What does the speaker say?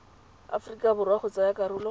aforika borwa go tsaya karolo